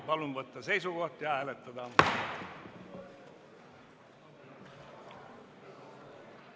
Palun võtta seisukoht ja hääletada!